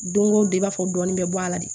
Don o don i b'a fɔ dɔɔnin bɛ bɔ a la de